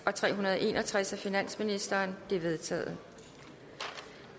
og tre hundrede og en og tres af finansministeren de er vedtaget